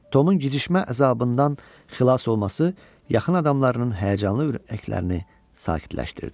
Tomun gicşmə əzabından xilas olması yaxın adamlarının həyəcanlı ürəklərini sakitləşdirdi.